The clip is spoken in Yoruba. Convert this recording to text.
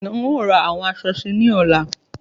Bẹ́ẹ̀ni, ń ó ra àwọn aṣọ síí ni ọ̀la